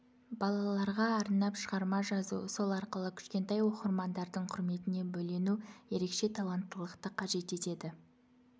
балаларға арнап шығарма жазу сол арқылы кішкентай оқырмандардың құрметіне бөлену ерекше таланттылықты қажет етеді